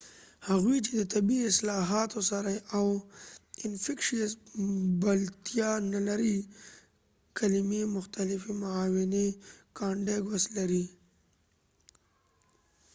هغوۍ چې د طبي اصطلاحاتو سره بلدتیا نلري infectious او contagoius کلمي مختلفي معناوي لري